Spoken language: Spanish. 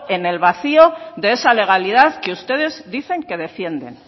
en el vacío de esa legalidad que ustedes dicen que defienden